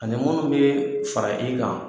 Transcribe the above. Ani munnu be fara i kan